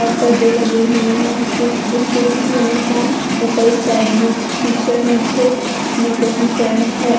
और पर्दे लगे हुए हैं स्टू स्टूडेंट की यूनिफॉर्म ऊपर स्काई ब्लू टी शर्ट नीचे ब्लू कलर की पैंट है।